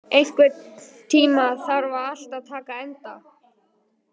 Hlini, einhvern tímann þarf allt að taka enda.